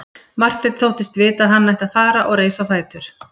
Marteinn þóttist vita að hann ætti að fara og reis á fætur.